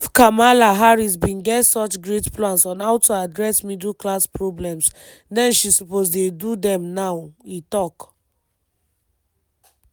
“if kamala harris bin get such great plans on how to address middle class problems then she suppose dey do dem now” e tok.